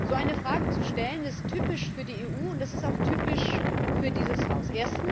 So eine Frage zu stellen, ist typisch für die EU und auch typisch für dieses Haus.